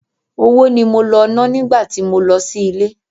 Owó ni mo lọ ná nígbà tí mo lọ sí ilé.